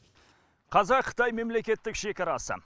қазақ қытай мемлекеттік шекарасы